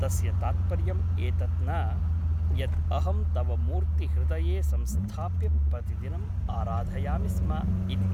तस्य तात्पर्यम् एतत् न यत् अहं तव मूर्ति हृदये संस्थाप्य प्रतिदिनम् आराधयामि स्म इति ।